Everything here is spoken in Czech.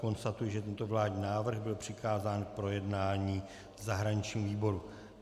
Konstatuji, že tento vládní návrh byl přikázán k projednání v zahraničním výboru.